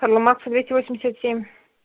карла маркса двести восемьдесят семь